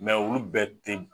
olu bɛɛ te